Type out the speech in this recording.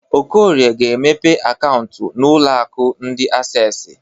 Okorie ga-emepe akaụntụ n'ụlọ akụ ndi Accessi.